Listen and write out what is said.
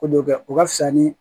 Ko dɔ kɛ o ka fisa ni